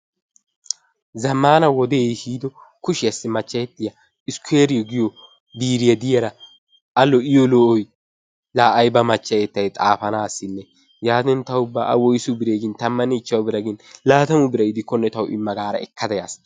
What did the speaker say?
Zammaana wodee ehiido kushiyassi maccayettiya iskkoyree biiriya de'iyara A lo'iyo lo'oy! La ayba machchayettay xaafanaassinne, yaatin ta ubba A woysu bire gin 15 bira gin 20 bira gidikkonne tawu imma gaada ekkada yaas.